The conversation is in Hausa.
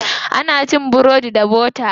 Ana cin burodi da bota.